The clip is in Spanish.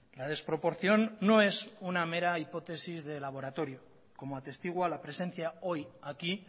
la desproporción no es una mera hipótesis de laboratorio como atestigua la presencia hoy aquí